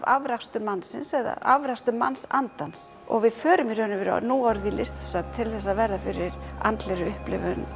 afrakstur mannsins eða afrakstur mannsandans og við förum í raun og veru núorðið á listasöfn til að verða fyrir andlegri upplifun